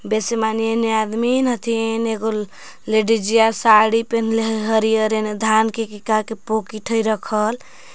बेसे माने हेने आदमिन हथिन एगो लेडिजिया साड़ी पन्हले ह हरियर एने धान के का की पोकीट हइ रखल।